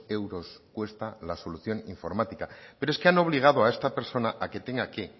euros cuesta la solución informática pero es que han obligado a esta persona a que tenga que